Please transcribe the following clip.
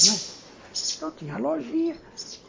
Então tinha a lojinha.